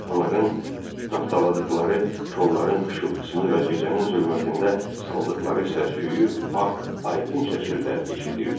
Onların tapdaladıqları kolların xışıltısını və gecənin zülmətində saldıqları səsküyü Bax, aydın şəkildə eşidirdi.